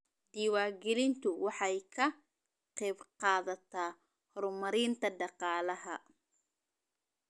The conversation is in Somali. Diiwaangelintu waxay ka qaybqaadataa horumarinta dhaqaalaha.